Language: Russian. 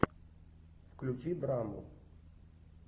включи драму